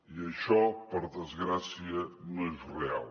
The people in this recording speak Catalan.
i això per desgràcia no és real